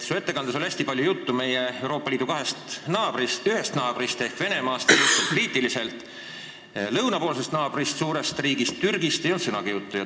Sa rääkisid oma ettekandes Euroopa Liidu kahest naabrist erinevalt: Venemaast oli palju juttu, aga lõunapoolse naabri, suure Türgi riigi kohta ei öelnud sõnagi.